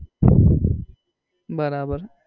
બરાબર